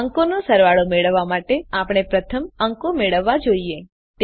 અંકોનો સરવાળો મેળવવા માટે આપણે પ્રથમ અંકો મેળવવા જોઈએ